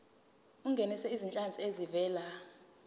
ungenise izinhlanzi ezivela